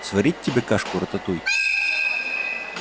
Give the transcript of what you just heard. сварить тебе кашку-рататуй